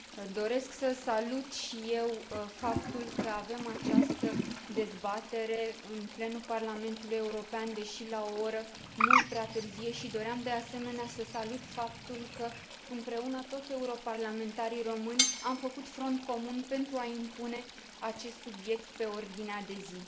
Doresc să salut și eu faptul că avem această dezbatere în plenul Parlamentului European, deși la o oră mult prea târzie, și doream, de asemenea, să salut faptul că, împreună, toți europarlamentarii români am făcut front comun pentru a impune acest subiect pe ordinea de zi.